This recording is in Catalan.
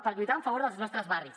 per lluitar en favor dels nostres barris